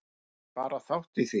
Ég tek bara þátt í því.